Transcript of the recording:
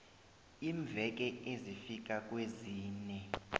iimveke ezifika kwezine